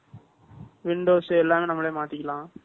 Windows எல்லாமே நம்மளே மாத்திக்கலாம்